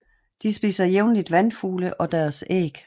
De spiser jævnligt vandfugle og deres æg